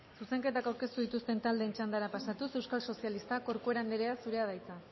zuzenketak aurkeztu dituzten taldeen txandara pasatuz euskal sozialistak corcuera andrea zurea da hitza